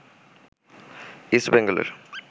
east বেঙ্গলের